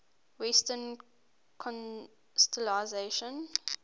western constellations